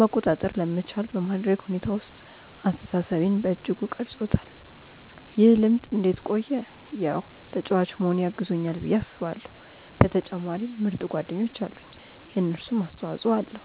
መቆጣጠር ለመቻል በማድረግ ሁኔታ ውስጥ አስተሳሰቤን በእጅጉ ቀርፆታል። ይህ ልምድ እንዴት ቆየ ያው ተጫዋች መሆኔ አግዞኛል ብዬ አስባለው በተጨማሪም ምርጥ ጓደኞች አሉኝ የነሱም አስተፆይ ኣለዉ።